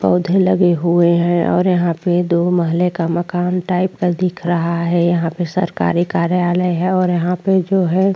पौधे लगे हुए हैं और यहां पे दो महले का मकान टाइप का दिख रहा है यहां पे सरकारी कार्यालय है और यहां पे जो है --